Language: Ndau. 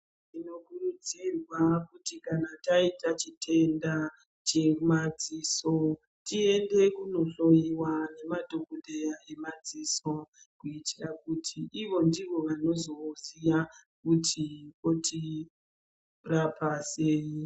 Tinokurudzirwa kuti kana taita chitenda chemadziso tiyende kunohloiwa ngemadhokodhera emadziso kuitira kuti izvo ndivo vanozoziya kuti otirapa sei.